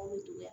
Anw dun